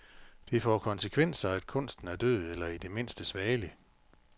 Det får konsekvenser, at kunsten er død eller i det mindste svagelig.